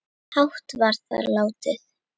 hátt var þar látið